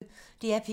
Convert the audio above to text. DR P1